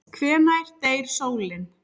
Hvenær deyr sólin?